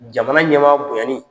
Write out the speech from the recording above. Jamana ɲɛmaa bonyani